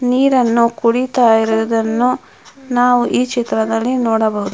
ನೀರನ್ನು ಕೂಡಿತ್ತಾ ಇರೋದನ್ನು ನಾವು ಈ ಚಿತ್ರದಲ್ಲಿ ನೋಡಬಹುದು.